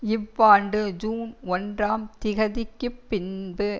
இவ்வாண்டு ஜூன் ஒன்றாம் திகதிக்குப் பின்பு